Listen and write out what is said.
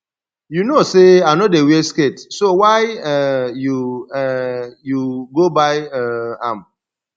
you know say i no dey wear skirt so why um you um you go buy um am